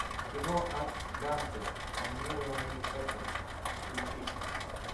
кино ад данте анимированный эпос включи